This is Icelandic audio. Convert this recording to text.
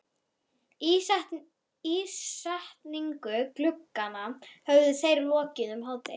Ísetningu glugganna höfðu þeir lokið um hádegið.